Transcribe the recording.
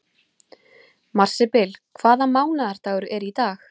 Marsibil, hvaða mánaðardagur er í dag?